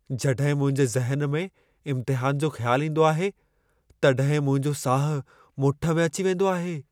जॾहिं मुंहिंजे ज़हन में इम्तिहान जो ख़्यालु ईंदो आहे, तॾहिं मुंहिंजो साह मुठु में अची वेंदो आहे।